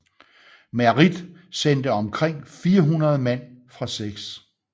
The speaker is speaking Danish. Merritt sendte omkring 400 mand fra 6